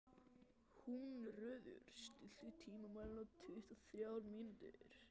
Húnröður, stilltu tímamælinn á tuttugu og þrjár mínútur.